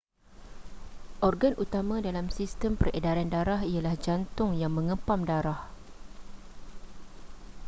organ utama dalam sistem peredaran darah ialah jantung yang mengepam darah